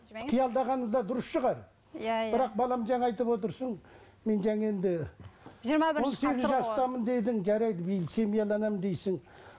қиялдағаны да дұрыс шығар иә иә бірақ балам жаңа айтып отырсың мен жаңа енді он сегіз жастамын дедің жарайды биыл дейсің